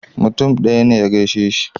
Mutum ɗaya ne ya gaishe ni.